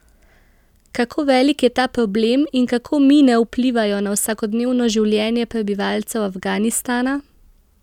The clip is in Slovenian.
Kako velik je ta problem in kako mine vplivajo na vsakodnevno življenje prebivalcev Afganistana?